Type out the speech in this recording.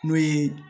N'o ye